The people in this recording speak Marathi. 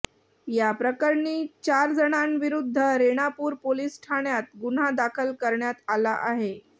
या प्रकरणी चारजणांविरुध्द रेणापूर पोलीस ठाण्यात गुन्हा दाखल करण्यात आला आहे